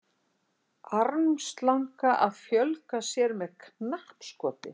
armslanga að fjölga sér með knappskoti